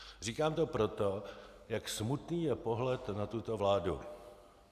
Říkám to proto, jak smutný je pohled na tuto vládu.